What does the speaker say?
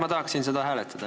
Ma tahaksin seda hääletada.